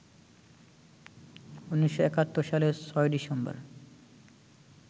১৯৭১ সালের ৬ ডিসেম্বর